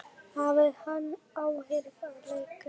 Hafði hann áhrif á leikinn?